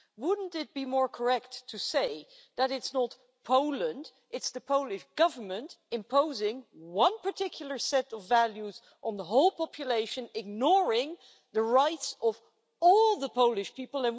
Wouldn't it be more correct to say that it is not Poland, it's the Polish Government imposing one particular set of values on the whole population, ignoring the rights of all the Polish people.